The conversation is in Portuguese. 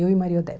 Eu e Maria Odete.